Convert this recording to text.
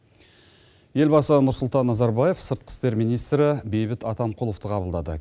елбасы нұрсұлтан назарбаев сыртқы істер министрі бейбіт атамқұловты қабылдады